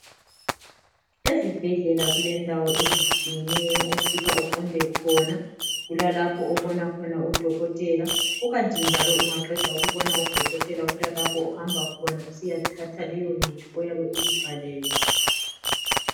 Ezibhedlela kulendawo ezitshiyeneyo ofika uqonde khona , kulalapho obona khona udokotela kukanti njalo ungaqeda ukubona udokotela kulalapho ohamba khona usiyathatha leyo mithi oyabe uyibhalelwe